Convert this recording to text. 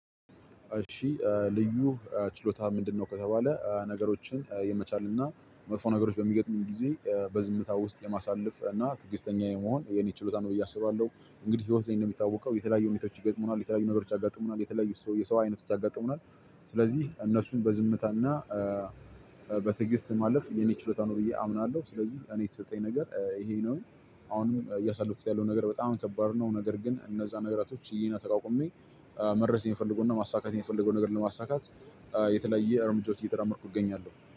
እሺ ልዩ ችሎታህ ምንድነው? ከተባለ ነገሮችን የመቻል እና መጥፎ ነገሮች በሚገጥሙኝ ጊዜ በዝምታ ውስጥ የማሳለፍ እና ትዕግስተኛ የመሆን የኔ ችሎታ ነው ብዬ አስባለሁ። እንግዲህ ህይወት ላይ እንደሚታወቀው የተለያዩ ሁኔታዋች ይገጥሙናል የተለያዩ ነገሮች ያጋጥሙናል የተለያዩ ሰው የሰው አይነቶች ያጋጥሙናል። ስለዚህ እነሱን በዝምታና በትዕግስት ማለፍ የኔ ችሎታ ነው ብዬ አምናለሁ። ስለዚህ እኔ የተሰጠኝ ነገር ይሄ ነው። አሁንም እያሳለፍኩት ያለው ነገር በጣም ከባድ ነው። ነገር ግን እነዛ ነገራቶች ችዬና ተቋቁሜ መድረስ የምፈልገውና ማሳካት የምፈልገውን ነገር ለማሳካት የተለያየ እርምጃዎች እየተራመድኩ እገኛለሁ